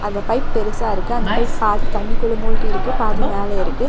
அந்த பைப் பெருசா இருக்கு அந்த பைப் பாதி தண்ணிக்குள்ள மூழ்கி இருக்கு பாதி மேல இருக்கு.